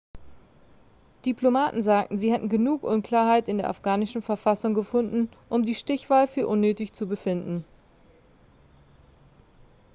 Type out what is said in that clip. diplomaten sagten sie hätten genug unklarheit in der afghanischen verfassung gefunden um die stichwahl für unnötig zu befinden